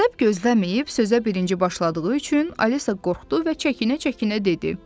Ədəb gözləməyib sözə birinci başladığı üçün Alisa qorxdu və çəkinə-çəkinə dedi: